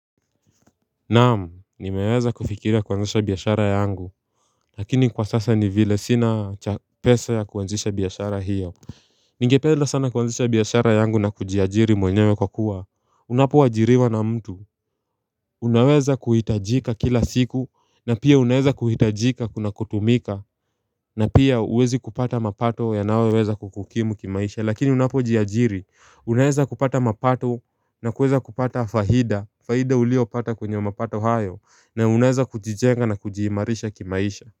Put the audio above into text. Naam, nimeweza kufikiria kuanzisha biashara yangu Lakini kwa sasa ni vile sina pesa ya kuanzisha biashara hiyo Ningependa sana kuanzisha biashara yangu na kujiajiri mwenyewe kwa kuwa Unapoajiriwa na mtu Unaweza kuhitajika kila siku na pia unaweza kuhitajika, kuna kutumika na pia huwezi kupata mapato yanayoweza kukukimu kimaisha, lakini unapo jiajiri unaweza kupata mapato na kuweza kupata faida, fahida uliopata kwenye mapato hayo, na unaeza kujijenga na kujiimarisha kimaisha.